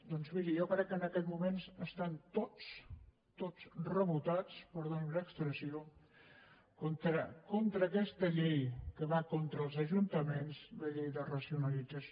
doncs miri jo crec que en aquest moment estan tots tots rebotats perdoni’m l’expressió contra aquesta llei que va contra els ajuntaments la llei de racionalització